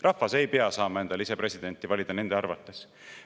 Rahvas ei pea saama endale ise presidenti valida nende arvates.